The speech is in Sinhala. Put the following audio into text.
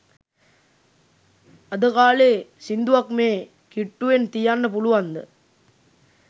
අද කාලේ සිංදුවක් මේ කිට්ටුවෙන් තියන්න පුළුවන්ද?